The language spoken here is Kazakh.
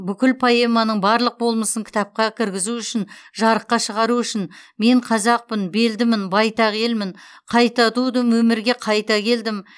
бүкіл поэманың барлық болмысын кітапқа кіргізу үшін жарыққа шығару үшін мен қазақпын белдімін байтақ елмін қайта тудым өмірге қайта келдім